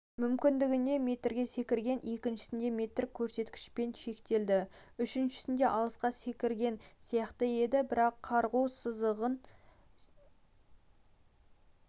мүмкіндігінде метрге секірген екіншісінде метр көрсеткішпен шектелді үшіншісінде алысқа секірген сияқты еді бірақ қарғу сызығын